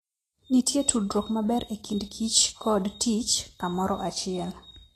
Nitie tudruok maber e kindkich kod tich kamoro achiel.